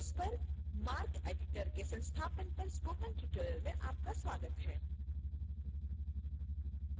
windows पर marceditor के संस्थापन पर spoken tutorial में आपका स्वागत है